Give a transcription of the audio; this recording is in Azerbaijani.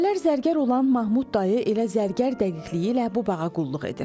Əvvəllər zərgər olan Mahmud dayı elə zərgər dəqiqliyi ilə bu bağa qulluq edir.